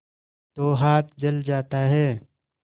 तो हाथ जल जाता है